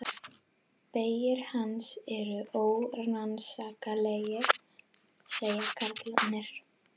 Vegir hans eru órannsakanlegir, segja karlarnir.